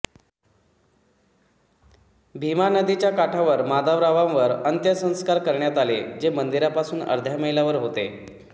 भीमा नदीच्या काठावर माधवरावांवर अंत्यसंस्कार करण्यात आले जे मंदिरापासून अर्ध्या मैलावर होते